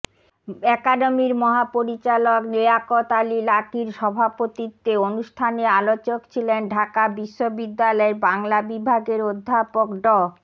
একাডেমির মহাপরিচালক লিয়াকত আলী লাকীর সভাপতিত্বে অনুষ্ঠানে আলোচক ছিলেন ঢাকা বিশ্ববিদ্যালয়ের বাংলা বিভাগের অধ্যাপক ড